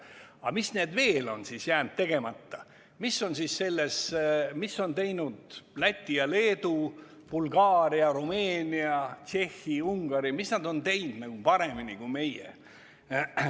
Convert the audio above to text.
Aga mis veel siis on jäänud tegemata, mida on teinud Läti, Leedu, Bulgaaria, Rumeenia, Tšehhi ja Ungari paremini kui meie?